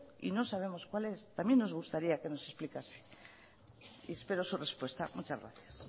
y no sabemos cuál es también nos gustaría que nos explicase y espero su respuesta muchas gracias